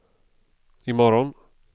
imorgon